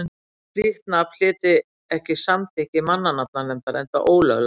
slíkt nafn hlyti ekki samþykki mannanafnanefndar enda ólöglegt